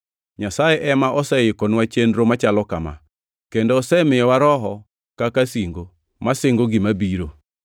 Nyasaye ema oseikonwa chenro machalo kama, kendo osemiyowa Roho kaka singo, masingo gima biro.